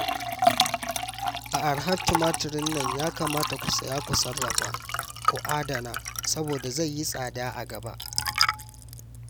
A arhar tumatirin nan ya kamata ku saya ku sarrafa, ku adana saboda zai yi tsada a gaba